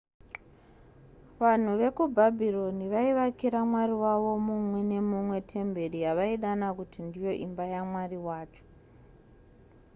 vanhu vekubhabhironi vaivakira mwari wavo mumwe nemumwe temberi yavaidana kuti ndiyo imba yamwari wacho